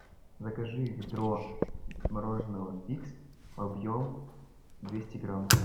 закажи ведро мороженого твикс объем двести грамм